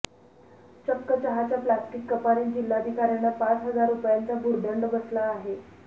चक्क चहाच्या प्लास्टिक कपानेच जिल्हाधिकाऱ्यांना पाच हजार रूपयांचा भुर्दंड बसला आहे